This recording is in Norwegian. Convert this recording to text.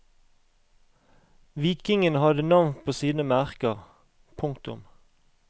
Vikingene hadde navn på sine merker. punktum